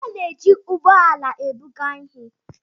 A na-eji ụgbọ ala ebuga ihe